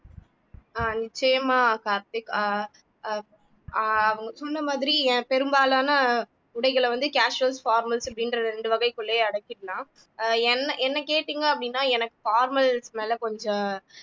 ஆஹ் நிச்சயமா கார்த்திக் ஆஹ் அஹ் ஆஹ் அவங்க சொன்ன மாதிரி பெரும்பாலான உடைகளை வந்து casuals formals அப்படின்ற ரெண்டு வகைக்குள்ளேயே அடக்கிடலாம் ஆஹ் என்னஎன்னை கேட்டிங்க அப்படின்னா எனக்கு formals மேல கொஞ்சம்